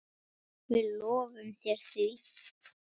Við lofum þér því.